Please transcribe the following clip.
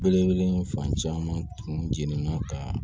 Belebele fan caman tun jenɛna ka